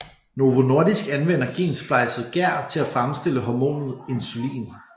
Novo Nordisk anvender gensplejset gær til at fremstille hormonet insulin